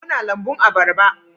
Muna lambun abarba